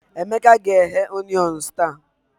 Emeka ga-eghe Onions taa